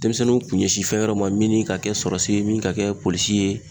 Denmisɛnninw kun ɲɛsin fɛn wɛrɛw ma min ni ka kɛ sɔrasi ye min ka kɛ polisi ye